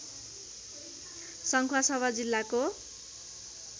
सङ्खुवासभा जिल्लाको